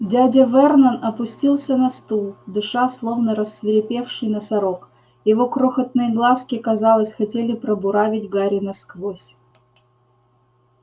дядя вернон опустился на стул дыша словно рассвирепевший носорог его крохотные глазки казалось хотели пробуравить гарри насквозь